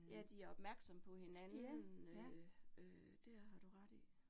Ja de opmærksomme på hinanden, øh øh det er har du ret i